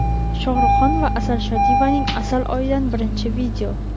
Shohruxxon va Asal Shodiyevaning asal oyidan birinchi video.